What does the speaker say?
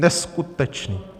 Neskutečné.